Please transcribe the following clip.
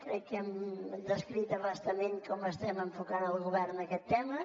crec que hem descrit a bastament com estem enfocant al govern aquesta tema